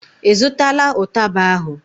ị zụtala ụtaba ahụ?